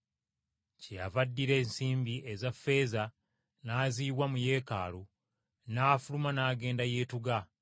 Kyeyava addira ensimbi eza ffeeza n’aziyiwa mu Yeekaalu n’afuluma n’agenda yeetuga!